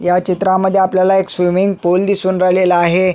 ह्या चित्रामध्ये आपल्याला एक स्विमिंग पूल दिसून राहिलेला आहे.